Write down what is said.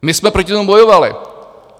My jsme proti tomu bojovali.